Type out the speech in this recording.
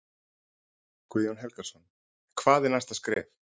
Guðjón Helgason: En hvað er næsta skref?